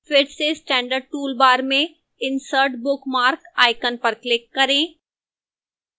फिर से standard toolbar में insert bookmark icon पर click करें